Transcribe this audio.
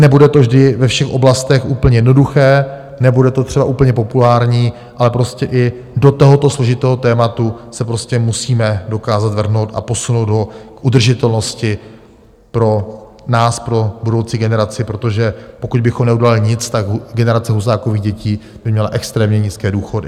Nebude to vždy ve všech oblastech úplně jednoduché, nebude to třeba úplně populární, ale prostě i do tohoto složitého tématu se musíme dokázat vrhnout a posunout ho k udržitelnosti pro nás, pro budoucí generaci, protože pokud bychom neudělali nic, tak generace Husákových dětí by měla extrémně nízké důchody.